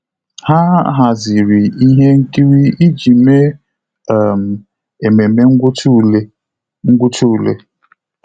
Há hàzị̀rị̀ ihe nkiri iji mèé um ememe ngwụcha ule. ngwụcha ule.